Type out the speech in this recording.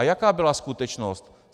A jaká byla skutečnost?